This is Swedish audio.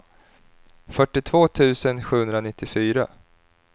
fyrtiotvå tusen sjuhundranittiofyra